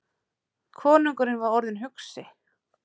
Konungurinn var orðinn hugsi.